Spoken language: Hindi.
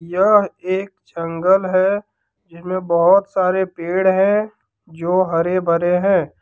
यह एक जंगल है जिसमे बहोत सारे पेड़ है जो हरे भरे हैं।